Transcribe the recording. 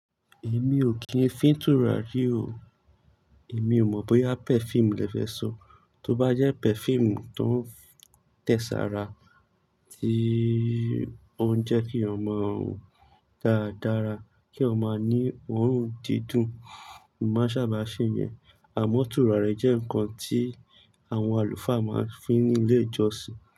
Èmi ò kíń fin tùràrí o. Èmi ò mọ̀ bóyá perfume lẹ fẹ́ sọ. Tó bá jẹ́ perfume tó ń tẹ̀ sara, tí ó ń jẹ́ kí ọmọ run dára dára, kí ó máa ní òórùn dídùn, n más sàbà ṣe yẹn. Àmọ́ tùràri jẹ́ ǹkan tí àwọn àlùfáà máa ń fin ní ilé ìjọsìn.